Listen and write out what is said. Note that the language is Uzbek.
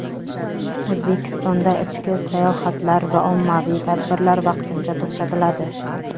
O‘zbekistonda ichki sayohatlar va ommaviy tadbirlar vaqtincha to‘xtatiladi.